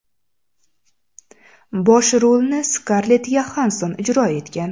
Bosh rolni Skarlett Yoxansson ijro etgan.